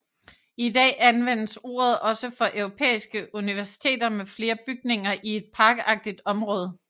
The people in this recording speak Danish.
I dag anvendes ordet også for europæiske universiteter med flere bygninger i et parkagtigt område